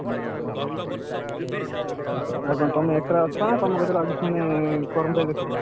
ଯାହା ହଉ ଆଉ କଣ ତମେ ଏକ ଅଛ ନାଁ ପାଖରେ କର୍ମଚାରୀ ରଖିଛ?